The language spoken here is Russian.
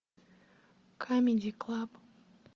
камеди клаб